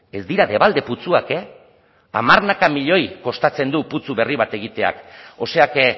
ez dira debalde putzuak eh hamarnaka milioi kostatzen du putzu berri bat egiteak o sea que